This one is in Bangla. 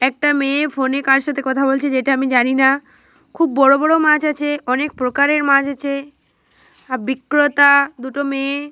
একটা মেয়ে ফোনে কার সাথে কথা বলছে যেটা আমি জানিনা। খুব বড় বড় মাছ আছে। অনেক প্রকারের মাছ আছে। আ বিক্রেতা দুটো মেয়ে --